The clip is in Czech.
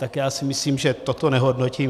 Tak já si myslím, že toto nehodnotím.